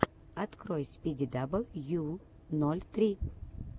открой спиди дабл ю ноль три